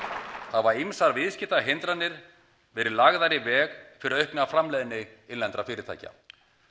hafa ýmsar viðskiptahindranir verið lagðar í veg fyrir aukna framleiðni innlendra fyrirtækja